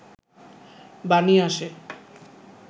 বাণী আসে